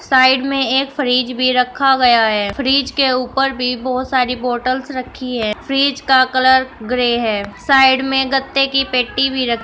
Side में एक fridge भी रखा गया है। फ्रिज के ऊपर बी बोहोत सारी बॉटल्स रखी हैं। फ्रिज का कलर ग्रे है। साइड में गत्ते की पेटी भी र --